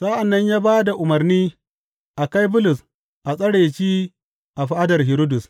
Sa’an nan ya ba da umarni a kai Bulus a tsare shi a fadar Hiridus.